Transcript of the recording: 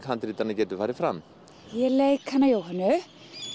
handritanna getur farið fram ég leik hana Jóhönnu